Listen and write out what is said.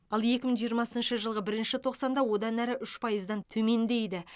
ал екі мың жиырмасыншы жылғы бірінші тоқсанда одан әрі үш пайыздан төмендейді